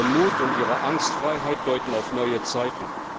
Ihr Mut und ihre Angstfreiheit deuten auf neue Zeiten.